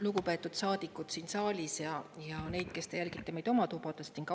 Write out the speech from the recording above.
Lugupeetud saadikud siin saalis ja need, kes te jälgite meid oma tubades!